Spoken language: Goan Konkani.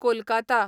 कोलकाता